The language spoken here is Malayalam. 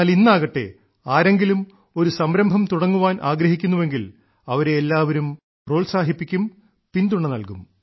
എന്നാൽ ഇന്നാകട്ടെ ആരെങ്കിലും ഒരു സംരംഭം തുടങ്ങാൻ ആഗ്രഹിക്കുന്നുവെങ്കിൽ അവരെ എല്ലാവരും പ്രോത്സാഹിപ്പിക്കും പിന്തുണ നൽകും